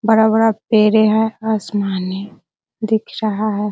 बड़ा -बड़ा पेड़े हैं आसमानी दिख रहा है।